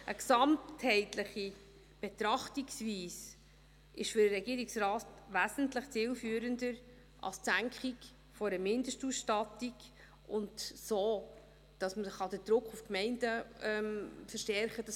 Eine gesamtheitliche Betrachtungsweise ist für den Regierungsrat wesentlich zielführender als die Senkung einer Mindestausstattung und dass man so den Druck auf die Gemeinden verstärken kann.